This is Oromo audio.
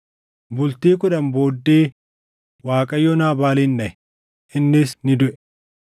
Bultii kudhan booddee Waaqayyo Naabaalin dhaʼe; innis ni duʼe.